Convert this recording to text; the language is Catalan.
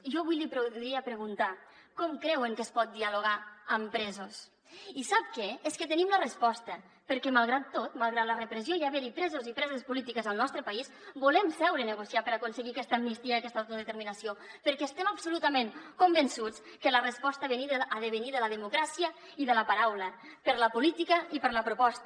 jo vull li podria preguntar com creuen que es pot dialogar amb presos i sap què és que tenim la resposta perquè malgrat tot malgrat la repressió i haver hi presos i preses polítiques al nostre país volem seure a negociar per aconseguir aquesta amnistia i aquesta autodeterminació perquè estem absolutament convençuts que la resposta ha de venir de la democràcia i de la paraula per la política i per la proposta